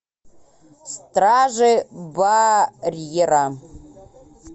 стражи барьера